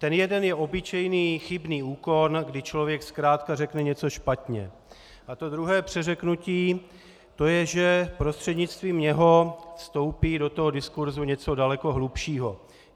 Ten jeden je obyčejný chybný úkon, kdy člověk zkrátka řekne něco špatně, a to druhé přeřeknutí, to je, že prostřednictvím něj vstoupí do toho diskursu něco daleko hlubšího.